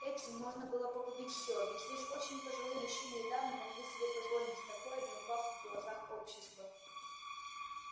эти можно было погубить всё ведь лишь очень пожилые мужчины и дамы могли себе позволить такое не упав в глазах общества